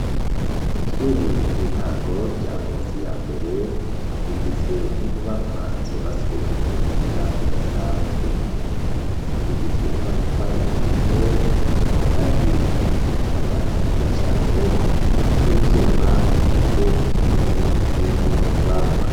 Ishure ry'intango rya ngozi ya mbere rigizwe n'inyubakwa zubaswe ku buhinga budasanzwe zigizwe n'amatafari ahiye, kandi hariko n'amabati meza cane hamwe n'ivyuma bigize inkingi z'izo nyubakwa.